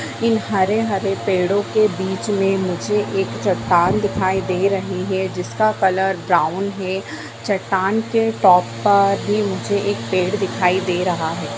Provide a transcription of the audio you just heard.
इन हरे-हरे पेड़ो के बीच में मुझे एक चट्टान दिखाई दे रही है जिसका कलर ब्राउन है चट्टान के टॉप पर भी मुझे एक पेड़ दिखाई दे रहा है।